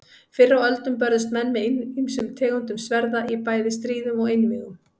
Fyrr á öldum börðust menn með ýmsum tegundum sverða í bæði stríðum og einvígum.